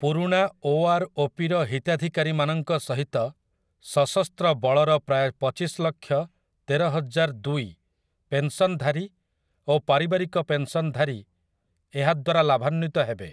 ପୁରୁଣା 'O. R. O. ପି.'ର ହିତାଧିକାରୀମାନଙ୍କ ସହିତ ସଶସ୍ତ୍ର ବଳର ପ୍ରାୟ ପଚିଶଲକ୍ଷ ତେରହଜାରଦୁଇ ପେନ୍‌ସନ୍‌ଧାରୀ ଓ ପାରିବାରିକ ପେନ୍‌ସନ୍‌ଧାରୀ ଏହାଦ୍ୱାରା ଲାଭାନ୍ୱିତ ହେବେ ।